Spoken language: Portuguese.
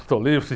Estou livre.